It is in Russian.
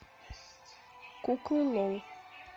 куклы лол